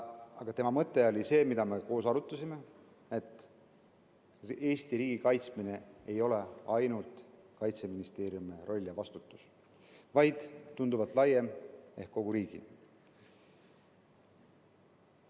Aga tema mõte, mida me koos arutasime, oli see, et Eesti riigi kaitsmine ei ole ainult Kaitseministeeriumi roll ja vastutus, vaid tunduvalt laiem ehk kogu riigi vastutus.